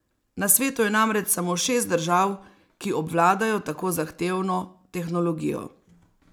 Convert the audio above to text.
Na svetu je namreč samo šest držav, ki obvladajo tako zahtevno tehnologijo.